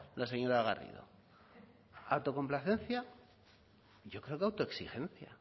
la señora garrido autocomplacencia yo creo que autoexigencia